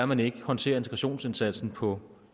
man ikke håndterer integrationsindsatsen på